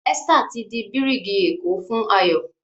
Esther tí dì birigi eko fún Ayo